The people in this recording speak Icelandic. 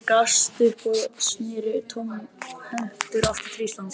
Hann gafst upp og sneri tómhentur aftur til Íslands.